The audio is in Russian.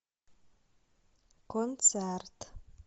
концерт